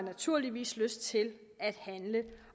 naturligvis lyst til at handle